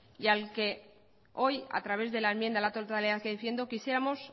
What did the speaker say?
y al que hoy a través de la enmienda a la totalidad que defiendo quisiéramos